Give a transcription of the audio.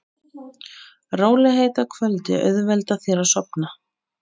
Rólegheit að kvöldi auðvelda þér að sofna.